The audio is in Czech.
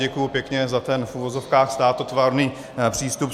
Děkuji pěkně za ten v uvozovkách státotvorný přístup.